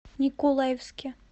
николаевске